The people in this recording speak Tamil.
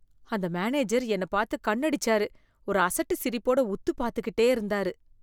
அந்த மேனேஜர் என்னப் பாத்து கண்ணு அடிச்சாரு, ஒரு அசட்டு சிரிப்போட உத்து பாத்துக்கிட்டே இருந்தாரு.